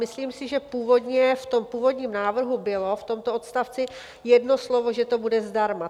Myslím si, že v tom původním návrhu bylo v tomto odstavci jedno slovo, že to bude zdarma.